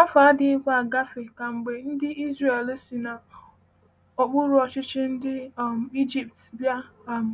Afọ adịghịkwa agafe kemgbe ndị Izrel si n’okpuru ọchịchị ndị um Ijipt bịa um